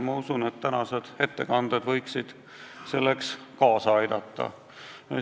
Ma usun, et tänased ettekanded võiksid sellele kaasa aidata.